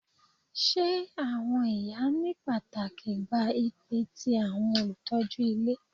Ṣe awọn iya ni pataki gba ipa ti awọn olutọju ile